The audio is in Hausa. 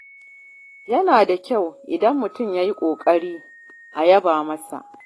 Yana da kyau idan mutum ya yi ƙoƙari a yaba masa.